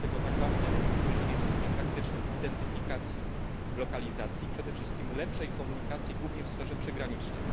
Dlatego tak ważne jest wdrożenie w systemie praktycznym identyfikacji lokalizacji, przede wszystkim lepszej komunikacji głównie w strefie przygranicznej.